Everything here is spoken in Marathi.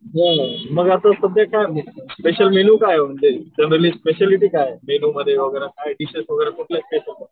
बोल मग आता सध्या काय म्हणजे फॅसिलिटी काय आहे? मेन्यूमध्ये काय डिशेश वगैरे काय ठेवतो?